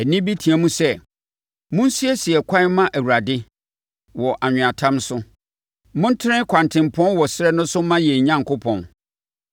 Ɛnne bi reteam sɛ, “Monsiesie ɛkwan mma Awurade wɔ anweatam no so. Montene kwantempɔn wɔ ɛserɛ no so mma yɛn Onyankopɔn.